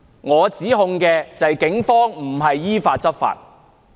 我的指控就是警方並非依法執法。